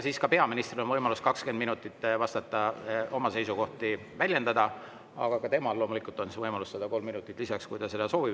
Siis on peaministril võimalus 20 minutit vastata, oma seisukohti väljendada, ja et olla õiglane, on ka temal loomulikult võimalus saada 3 minutit lisaks, kui ta seda soovib.